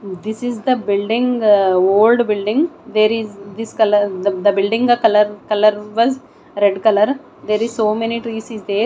this is the building old building there is this colour the building the colour colour was red colour there is so many trees is there.